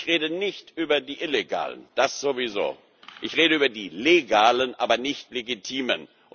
machen? Ich rede nicht über die illegalen das sowieso ich rede über die legalen, aber nicht legitimen.